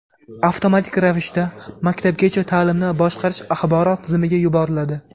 avtomatik ravishda Maktabgacha ta’limni boshqarish axborot tizimiga yuboriladi.